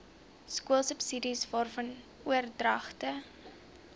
skoolsubsidies waarvan oordragte